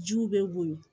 Jiw bɛ woyo